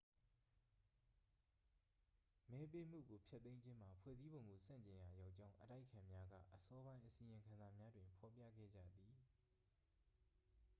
မဲပေးမှုကို ဖျက်သိမ်းခြင်းမှာ ဖွဲ့စည်းပုံကို ဆန့်ကျင်ရာရောကြောင်း အတိုက်အခံများက အစောပိုင်း အစီရင်ခံစာများတွင် ဖော်ပြခဲ့ကြသည်